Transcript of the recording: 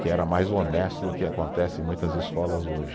Que era mais honesto do que acontece em muitas escolas hoje.